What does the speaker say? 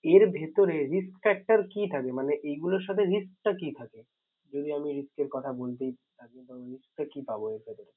এর ভিতরে risk factor কি থাকে মানে এগুলোর সাথে risk টা কি থাকে। যদি আমি risk এর কথা বলতে থাকি। risk টা কি পাবো